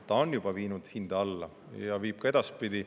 See on juba viinud hinda alla ja viib ka edaspidi.